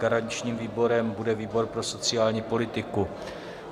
Garančním výborem bude výbor pro sociální politiku.